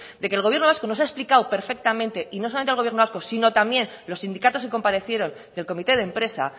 de que el gobierno vasco nos ha explicado perfectamente y no solamente el gobierno vasco sino también los sindicatos que comparecieron del comité de empresa